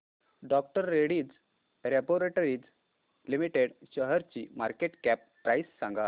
डॉ Reddy's laboratories limited शेअरची market cap price सांगा